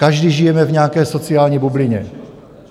Každý žijeme v nějaké sociální bublině.